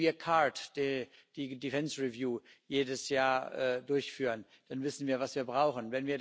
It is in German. Wenn wir CARD, die Defence Review jedes Jahr durchführen, dann wissen wir, was wir brauchen.